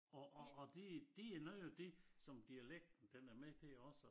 Og og og det det noget af det som dialekten den er med til også